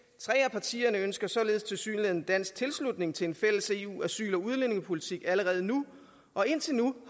partierne ønsker således tilsyneladende dansk tilslutning til en fælles eu asyl og udlændingepolitik allerede nu og indtil nu